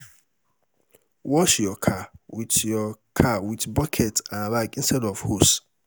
wash yur car wit yur car wit bucket and rag instead of hose